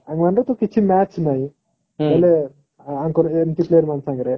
କିଛି match ନାହିଁ ହେଲେ ଯଙ୍କର ଏମିତି player ମାନଙ୍କ ସାଙ୍ଗରେ